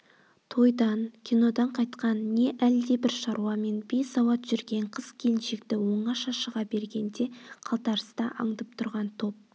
тойдан кинодан қайтқан не әлдебір шаруамен бейсауат жүрген қыз-келіншекті оңаша шыға бергенде қалтарыста аңдып тұрған топ